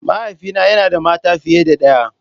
Mahaifina yana da mata fiye da ɗaya.